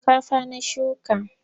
Shinkafa na shuka.